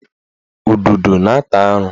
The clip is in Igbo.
Ududo na-ata arụ